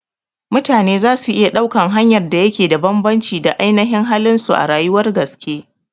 Mutane zasu iya ɗaukan hanyar da yake da bambanci da ainashin halin su a rayuwar gaske